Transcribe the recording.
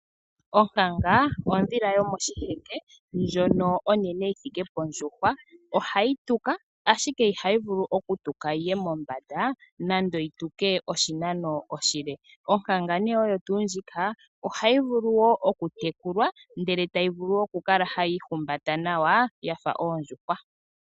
Onkanga ondhila yomoshiheke ndjono onene yithike pondjuhwa ohayi tuka ashike ihayi vulu okutuka yi ye mombanda nenge yituke oshinano oshile . onkanga ohayi vulu woo oku tekulwa ndele tayi vulu okukala hayi ihumbata nawa yafa oondjuhwa.